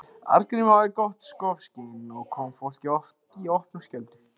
Arngrímur hafði gott skopskyn og kom fólki oft í opna skjöldu.